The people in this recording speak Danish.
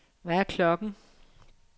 Hvad er klokken